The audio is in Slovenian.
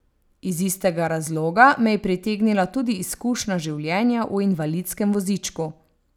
Iz istega razloga me je pritegnila tudi izkušnja življenja v invalidskem vozičku.